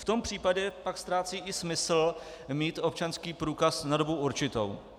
V tom případě pak ztrácí i smysl mít občanský průkaz na dobu určitou.